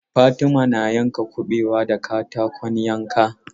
Fatima na yanka kuɓewa da katakon yanka.